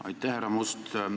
Aitäh, härra Must!